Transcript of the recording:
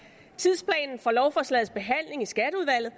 tidsplanen for lovforslagets behandling i skatteudvalget